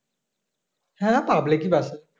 হ্যাঁ public bus এ